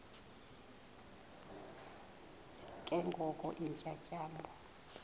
ke ngoko iintyatyambo